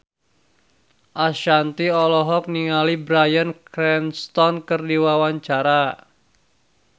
Ashanti olohok ningali Bryan Cranston keur diwawancara